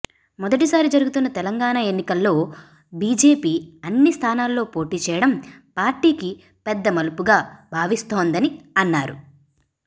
మొదటిసారి జరుగుతున్న తెలంగాణ ఎన్నికల్లో బీజేపీ అన్ని స్థానాల్లో పోటీ చేయడం పార్టీకి పెద్ద మలుపుగా భావిస్తోందని అన్నారు